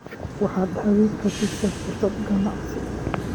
Waxaad haweenka siisaa fursado ganacsi.